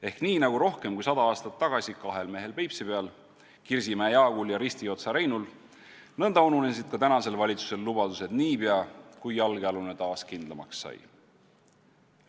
Ehk nii nagu rohkem kui sada aastat tagasi kahel mehel Peipsi peal, Kirsimäe Jaagul ja Ristiotsa Reinul, nõnda ununesid ka tänasel valitsusel lubadused niipea, kui jalgealune taas kindlamaks sai.